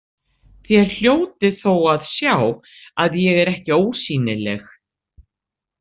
Þér hljótið þó að sjá að ég er ekki ósýnileg.